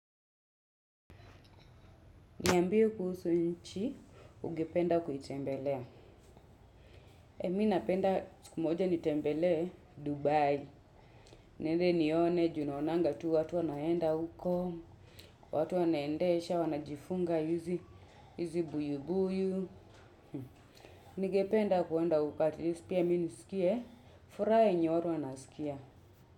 Niambie kuhusu nchi, ungependa kuitembelea. Mi napenda siku moja nitembelee Dubai. Niende nione, juu naonanga tu, watu wanaenda huko, watu wanaendesha, wanajifunga hizi buibui. Ningependa kuenda huko atleast pia, mi nisikie, furaha yenye watu wanasikia.